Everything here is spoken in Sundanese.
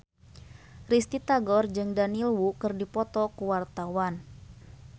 Risty Tagor jeung Daniel Wu keur dipoto ku wartawan